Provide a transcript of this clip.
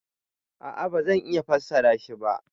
A'a ba zan iya fassara shi ba.